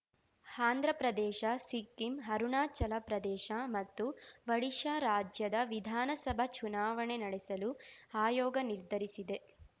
ಆಂಧ್ರ ಪ್ರದೇಶ ಸಿಕ್ಕಿಂ ಅರುಣಾಚಲ ಪ್ರದೇಶ ಮತ್ತು ಒಡಿಶಾ ರಾಜ್ಯದ ವಿಧಾನಸಭಾ ಚುನಾವಣೆ ನಡೆಸಲು ಆಯೋಗ ನಿರ್ಧರಿಸಿದೆ